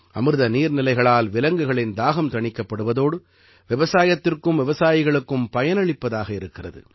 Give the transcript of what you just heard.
அமிர்த நீர்நிலைகளால் விலங்குகளின் தாகம் தணிக்கப்படுவதோடு விவசாயத்திற்கும் விவசாயிகளுக்கும் பயனளிப்பதாக இருக்கிறது